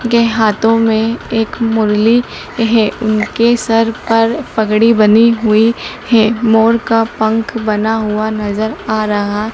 उनके हाथों मे एक मुरली है उनके सर पर पगड़ी बनी हुई है मोर का पंख बना हुआ नज़र आ रहा--